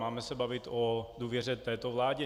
Máme se bavit o důvěře této vládě.